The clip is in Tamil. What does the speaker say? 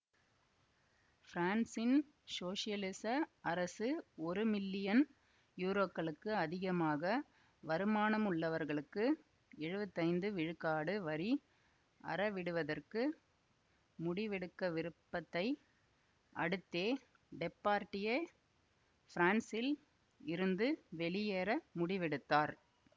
பிரான்சின் சோசலிச அரசு ஒரு மில்லியன் யூரோக்களுக்கு அதிகமாக வருமானமுள்ளவர்களுக்கு எழுவத்தி ஐந்து விழுக்காடு வரி அறவிடுவதற்கு முடிவெடுக்கவிருப்பதை அடுத்தே டெப்பார்டியே பிரான்சில் இருந்து வெளியேற முடிவெடுத்தார்